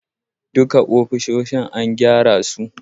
Duka ofisoshin an gyara su